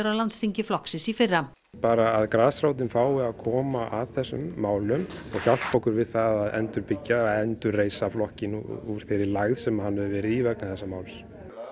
á landsþingi flokksins í fyrra bara að grasrótin fái að koma að þessum málum og hjálpa okkur við það að endurbyggja eða endurreisa flokkinn úr þeirri lægð sem hann hefur verið í vegna þessa máls